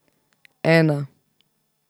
Ena.